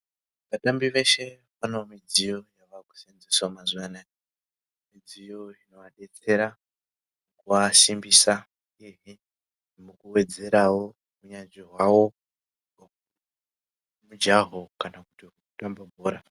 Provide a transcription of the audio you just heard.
Vatambi veshe vane midziyo yavakushandisa mazuwa anaya mudziyo inovadetsera mukuasimbisa uyehe mukuwedzerawo unyanzvi hwawo hwemujaho kana kuti hwekutamba bhora.